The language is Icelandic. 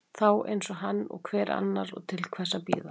Þá eins hann og hver annar, og til hvers að bíða.